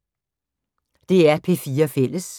DR P4 Fælles